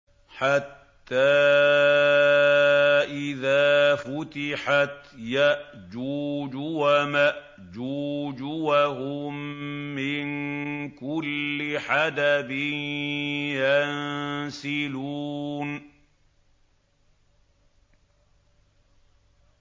حَتَّىٰ إِذَا فُتِحَتْ يَأْجُوجُ وَمَأْجُوجُ وَهُم مِّن كُلِّ حَدَبٍ يَنسِلُونَ